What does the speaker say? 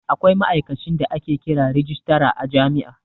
Akwai ma'aikacin da ake kira rajistara a jami'a